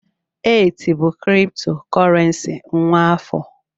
ETH bụ kriptokurrency nwa afọ